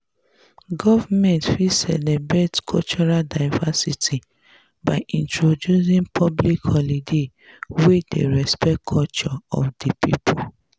government fit celebrate cultural diversity by introducing public holiday wey dey respect culture of di pipo